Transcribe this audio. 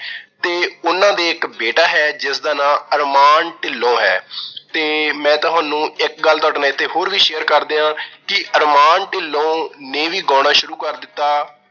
ਤੇ ਉਹਨਾਂ ਦੇ ਇੱਕ ਬੇਟਾ ਹੈ ਜਿਸਦਾ ਨਾਂ ਅਰਮਾਨ ਢਿੰਲੋਂ ਹੈ ਤੇ ਮੈਂ ਤੁਹਾਨੂੰ ਇੱਕ ਗੱਲ ਤੁਹਾਡੇ ਨਾਲ ਇੱਥੇ ਹੋਰ ਵੀ share ਕਰਦੇ ਹਾਂ ਕਿ ਅਰਮਾਨ ਢਿੰਲੋਂ ਨੇ ਵੀ ਗਾਉਣਾ ਸ਼ੁਰੂ ਕਰ ਦਿੱਤਾ,